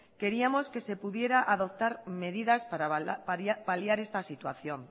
queríamos que se pudieran adoptar medidas para paliar esta situación